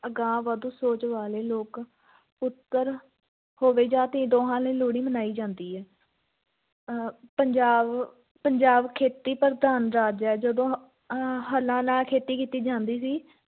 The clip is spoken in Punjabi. ਅਗਾਂਹਵਧੂ ਸੋਚ ਵਾਲੇ ਲੋਕ ਪੁੱਤਰ ਹੋਵੇ ਜਾਂ ਧੀ ਦੋਂਹਾਂ ਲਈ ਲੋਹੜੀ ਮਨਾਈ ਜਾਂਦੀ ਹੈ ਅਹ ਪੰਜਾਬ ਪੰਜਾਬ ਖੇਤੀ-ਪ੍ਰਧਾਨ ਰਾਜ ਹੈ, ਜਦੋਂ ਅਹ ਹਲਾਂ ਨਾਲ ਖੇਤੀ ਕੀਤੀ ਜਾਂਦੀ ਸੀ